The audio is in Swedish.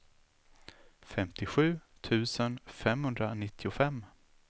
femtiosju tusen femhundranittiofem